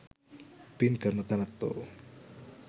පින්කරන තැනැත්තෝ